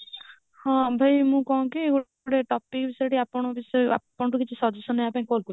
ହଁ ଭାଇ ମୁଁ କଣ କି ଗୋଟେ topic ବିଷୟରେ ଆପଣଙ୍କ ଆପଣଙ୍କଠୁ suggestion ନେବା ପାଇଁ call କରିଛି